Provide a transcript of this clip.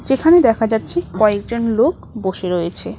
এখানে দেখা যাচ্ছে কয়েকজন লোক বসে রয়েছে।